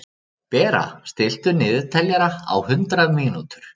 Bera, stilltu niðurteljara á hundrað mínútur.